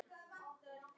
Ert þú þannig?